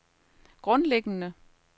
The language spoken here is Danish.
grundlæggende